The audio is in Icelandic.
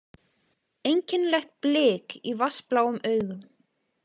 Einkennilegt blik í vatnsbláum augunum.